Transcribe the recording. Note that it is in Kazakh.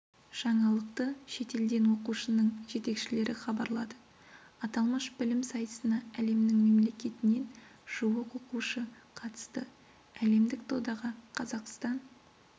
жаңалықты шетелден оқушының жетекшілері хабарлады аталмыш білім сайысына әлемнің мемлекетінен жуық оқушы қатысты әлемдік додаға қазақстан